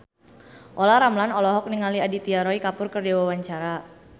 Olla Ramlan olohok ningali Aditya Roy Kapoor keur diwawancara